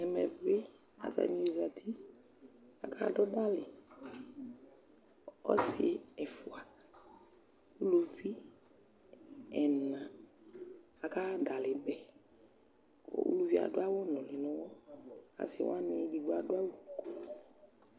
Ɛmɛ bɩ atanɩ zati kʋ akadʋ dalɩ Ɔsɩ ɛfʋa, uluvi ɛna akaɣa dalɩ bɛ kʋ uluvi yɛ adʋ awʋnʋlɩ nʋ ʋɣɔ Asɩ wanɩ edigbo adʋ awʋ